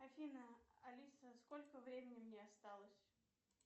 афина алиса сколько времени мне осталось